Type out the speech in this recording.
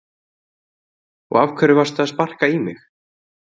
Og af hverju varstu að sparka í mig?